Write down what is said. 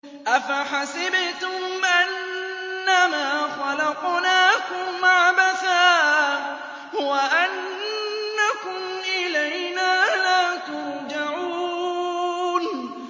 أَفَحَسِبْتُمْ أَنَّمَا خَلَقْنَاكُمْ عَبَثًا وَأَنَّكُمْ إِلَيْنَا لَا تُرْجَعُونَ